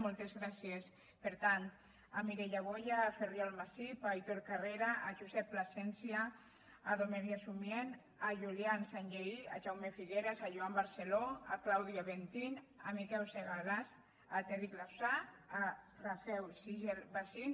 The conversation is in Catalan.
moltes gràcies per tant a mireia boya a ferriol massip a aitor carrera a josep plasencia a domergue sumient a julian sanllehy a jaume figueras a joan barceló a claudio aventin a miquèu segalàs a terric lausa a rafèu sichel·bazin